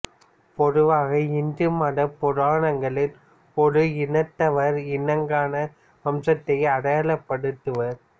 பொதுவாக இந்து மத புராணங்களில் ஒரு இனத்தவரை இனங்கான வம்சத்தை அடையாளப்படுத்துவர்